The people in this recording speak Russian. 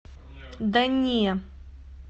да не